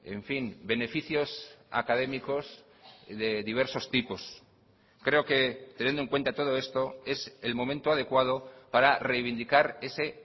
en fin beneficios académicos de diversos tipos creo que teniendo en cuenta todo esto es el momento adecuado para reivindicar ese